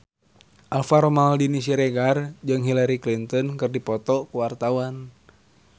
Alvaro Maldini Siregar jeung Hillary Clinton keur dipoto ku wartawan